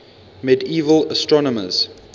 medieval astronomers